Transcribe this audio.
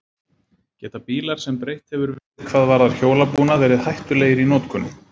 Geta bílar sem breytt hefur verið hvað varðar hjólabúnað, verið hættulegir í notkun?